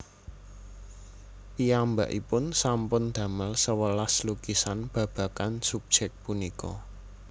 Piyambakipun sampun damel sewelas lukisan babagan subjék punika